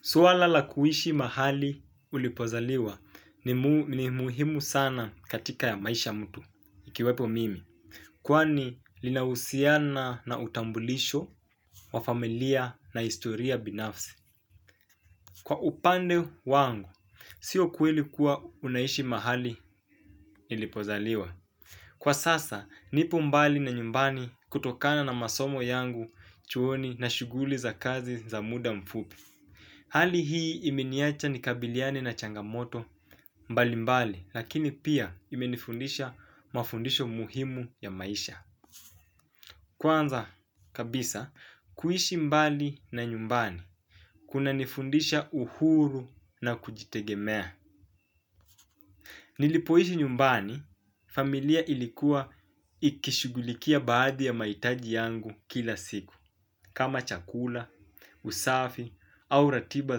Swala la kuishi mahali ulipozaliwa ni muhimu sana katika maisha ya mtu, ikiwepo mimi. Kwani linahusiana na utambulisho wa familia na historia binafsi. Kwa upande wangu, sio kweli kuwa unaishi mahali ulipozaliwa. Kwa sasa, nipo mbali na nyumbani kutokana na masomo yangu chuoni na shughuli za kazi za muda mfupi. Hali hii imeniacha ni lkabiliane na changamoto mbali mbali, lakini pia imenifundisha mafundisho muhimu ya maisha. Kwanza kabisa, kuishi mbali na nyumbani, kunanifundisha uhuru na kujitegemea. Nilipoishi nyumbani, familia ilikuwa ikishughulikia baadhi ya mahitaji yangu kila siku, kama chakula, usafi au ratiba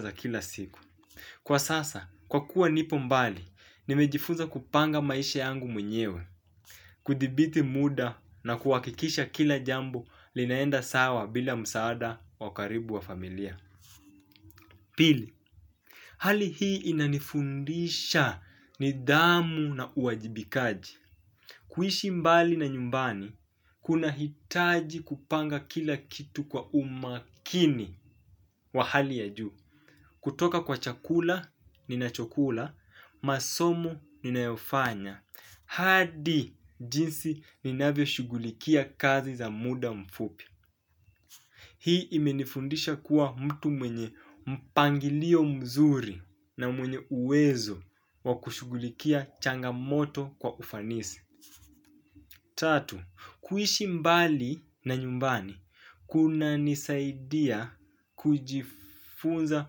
za kila siku. Kwa sasa, kwa kuwa nipo mbali, nimejifunza kupanga maisha yangu mwenyewe, kudibithi muda na kuhakikisha kila jambo linaenda sawa bila msaada wa karibu wa familia. Pili, hali hii inanifundisha nidhamu na uwajibikaji. Kuishi mbali na nyumbani, kunahitaji kupanga kila kitu kwa umakini wa hali ya juu. Kutoka kwa chakula, ninachokula, masomo ninayofanya. Hadi jinsi ninavyo shughulikia kazi za muda mfupi. Hii imenifundisha kuwa mtu mwenye mpangilio mzuri na mwenye uwezo wakushughulikia changamoto kwa ufanisi. Tatu, kuishi mbali na nyumbani, kunanisaidia kujifunza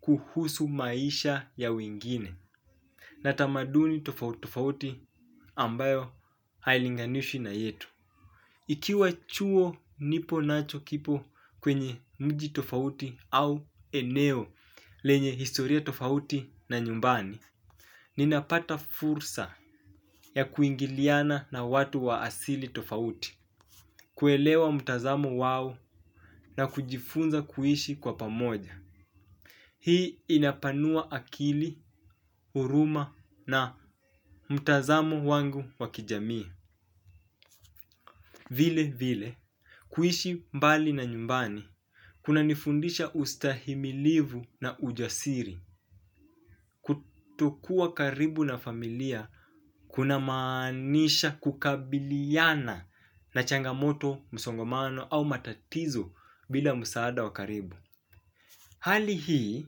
kuhusu maisha ya wengine. Na tamaduni tofauti tofauti ambayo hailinganishwi na yetu. Ikiwa chuo nipo nacho kipo kwenye mji tofauti au eneo lenye historia tofauti na nyumbani. Ninapata fursa ya kuingiliana na watu wa asili tofauti kuelewa mtazamo wao na kujifunza kuishi kwa pamoja. Hii inapanua akili, huruma na mtazamo wangu wa kijamii vile vile. Kuishi mbali na nyumbani, kunanifundisha ustahimilivu na ujasiri, kutokuwa karibu na familia kunamaanisha kukabiliana na changamoto, msongamano au matatizo bila msaada wa karibu. Hali hii,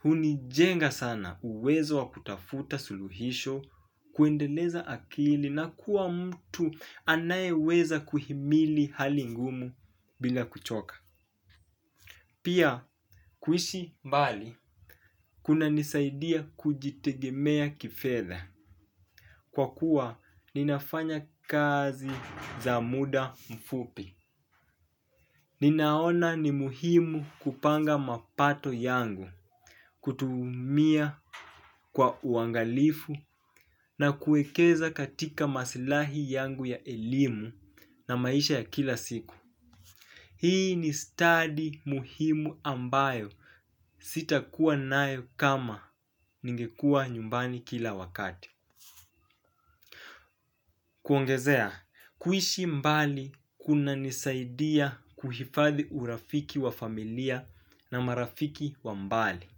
hunijenga sana uwezo wa kutafuta suluhisho, kuendeleza akili na kuwa mtu anayeweza kuhimili hali ngumu bila kuchoka. Pia kuishi mbali kunanisaidia kujitegemea kifedha. Kwa kuwa, ninafanya kazi za muda mfupi. Ninaona ni muhimu kupanga mapato yangu, kutumia kwa uangalifu na kuekeza katika maslahi yangu ya elimu na maisha ya kila siku. Hii ni study muhimu ambayo sitakuwa nayo kama ningekua nyumbani kila wakati. Kuongezea, kuishi mbali kunanisaidia kuhifadhi urafiki wa familia na marafiki wa mbali.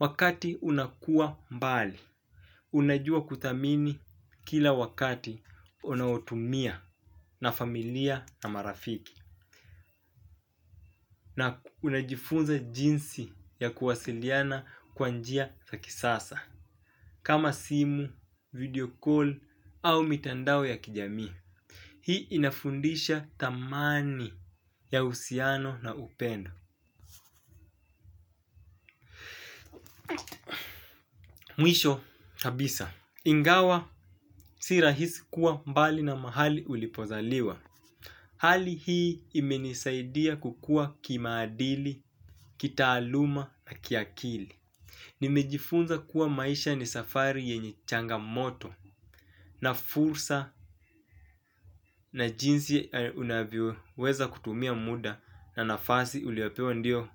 Wakati unakua mbali, unajua kuthamini kila wakati unaotumia na familia na marafiki na unajifunza jinsi ya kuwasiliana kwa njia za kisasa. Kama simu, video call au mitandao ya kijami. Hii inafundisha thamani ya uhusiano na upendo mwisho kabisa ingawa si rahisi kuwa mbali na mahali ulipozaliwa. Hali hii imenisaidia kukua kimaadili, kitaaluma na kiakili. Nimejifunza kuwa maisha ni safari yenye changamoto na fursa na jinsi unavyoweza kutumia muda na nafasi uliwapewa ndio.